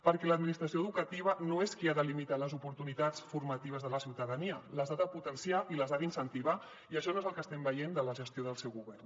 perquè l’administració educativa no és qui ha de limitar les oportunitats formatives de la ciutadania les ha de potenciar i les ha d’incentivar i això no és el que estem veient de la gestió del seu govern